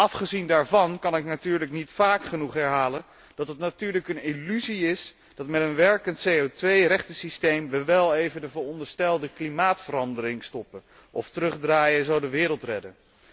Afgezien daarvan kan ik natuurlijk niet vaak genoeg herhalen dat het natuurlijk een illusie is dat met een werkend CO2 rechtensysteem we wel even de veronderstelde klimaatverandering stoppen of terugdraaien en zo de wereld redden.